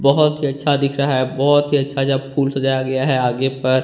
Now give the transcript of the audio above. बहोत ही अच्छा दिख रहा है बहोत ही अच्छा अच्छा जब फूल सजाया गया है आगे पर।